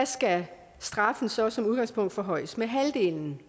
skal straffen så som udgangspunkt forhøjes med halvdelen